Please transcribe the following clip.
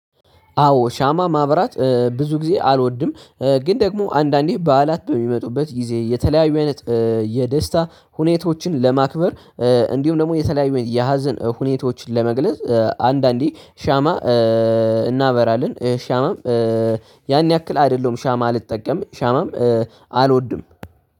አዎ ሻማ ማብራት ብዙ ጊዜ አልወድም። ግን ደግሞ አንዳንዴ በዓላት በሚመጡበት ጊዜ የተለያዩ አይነት የደስታ ሁኔታዎችን ለማክበር እንዲሁም ደግሞ የተለያዩ የሀዘን ሁኔታዎችን ለመግለጽ አንዳንዴ ሻማ እናበራለን። ሻማም ያን ያክል አይደለሁም ሻማ አልጠቀምም ሻማም አልወድም።